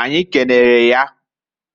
Anyi kenere ya